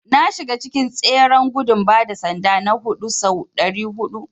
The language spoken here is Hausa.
Na shiga cikin tseren gudun bada sanda na huɗu sau ɗari huɗu.